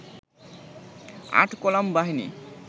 ৮ column বাহিনী